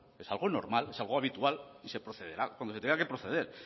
es algo normal es algo habitual y se procederá cuando se tenga que proceder